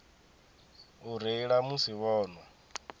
u reila musi vho nwa